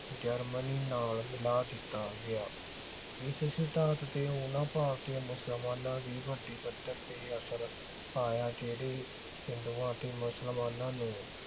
Germany ਨਾਲ ਮਿਲਾ ਦਿੱਤਾ ਗਿਆ। ਇਸ ਸਿਧਾਂਤ ਤੇ ਉਨ੍ਹਾਂ ਭਾਰਤੀ ਮੁਸਲਮਾਨਾਂ ਦੀ ਵੱਡੀ ਪੱਧਰ ਤੇ ਅਸਰ ਆਇਆ ਜਿਹੜੇ ਹਿੰਦੂਆਂ ਅਤੇ ਮੁਸਲਮਾਨਾਂ ਨੂੰ